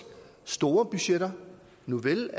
store budgetter nuvel